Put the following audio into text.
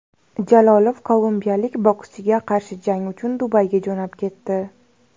Jalolov kolumbiyalik bokschiga qarshi jang uchun Dubayga jo‘nab ketdi.